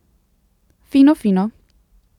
Fino, fino.